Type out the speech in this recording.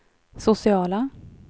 sociala